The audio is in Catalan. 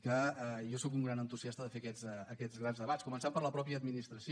que jo soc un gran entusiasta de fer aquests grans debats començant per la mateixa administració